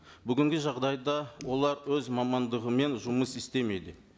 бүгінгі жағдайда олар өз мамандығымен жүмыс істемейді